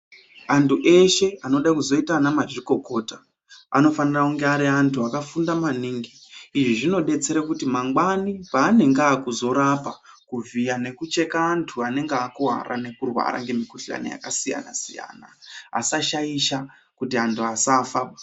Antu eshe anoda kuzoita ana mazvikokota anofanira kunge ari antu akafunda maningi. Izvi zvinodetsere kuti mangwani paanenge aakuzorapa, kuvhiya, nekucheka antu anenge akuwara nekurwara ngemukhuhlani yakasiyana-siyana, asashaisha kuti antu asafa.